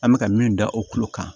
An bɛ ka min da o kolo kan